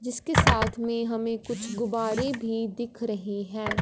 जिसके साथ में हमें कुछ गुब्बारे भी दिख रहे हैं।